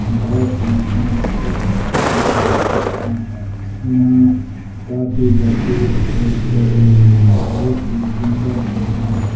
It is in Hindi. बहुत ही सुंदर एक्साइज हो रही है । यहाँ पर यहाँ काफी लड़के एक्साइज कर रहे हैं बोहत ही सुंदर है। यहाँ--